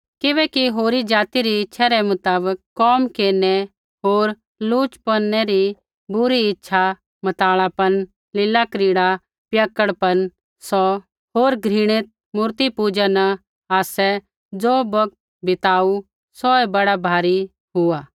किबैकि होरी ज़ाति री इच्छै रै मुताबक कोम केरनै होर लुचपनै री बुरी इच्छा मतवालापन लीलाक्रीड़ा पियक्कड़पन होर घृणित मूर्ति पूज़ा न आसै ज़ो बौगत बिताऊ सौऐ बड़ा भारी हुआ